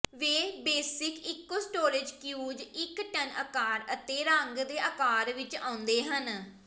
ਵੇ basic ਇਕੋ storage ਕਿਊਜ਼ ਇਕ ਟਨ ਅਕਾਰ ਅਤੇ ਰੰਗ ਦੇ ਆਕਾਰ ਵਿਚ ਆਉਂਦੇ ਹਨ